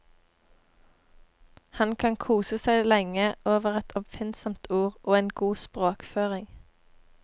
Han kan kose seg lenge over et oppfinnsomt ord og en god språkføring.